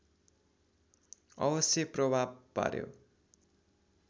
अवश्य प्रभाव पार्‍यो